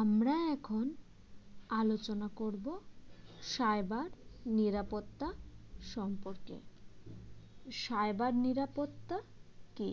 আমরা এখন আলোচনা করব cyber নিরাপত্তা সম্পর্কে cyber নিরাপত্তা কী